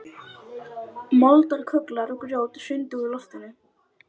Taka að mér að veita Skagfirðingum forystu.